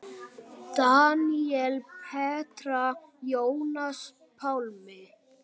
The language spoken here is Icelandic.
Daníel, Petra, Jónas Pálmi.